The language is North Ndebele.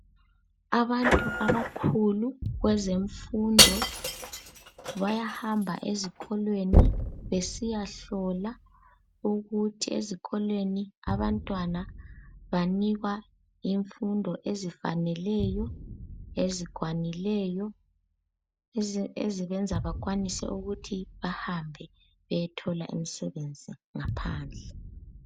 Abantu abakhulu kwezemfundo bayahamba ezikolweni besiyahlola ukuthi ezikolweni abantwana banikwa imfundo ezifaneleyo , ezikwanileyo ezibenza bakwanise ukuthi bahambe beyethola imisebenzi ngaphandle.